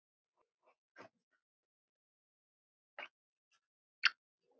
Gefur Kristinn rautt spjald?